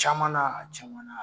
Camanan a camanan.